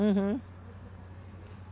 Uhum.